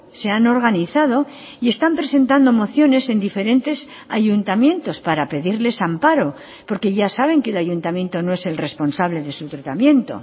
se han organizado y están presentando mociones en diferentes ayuntamientos para pedirles amparo porque ya saben que el ayuntamiento no es el responsable de su tratamiento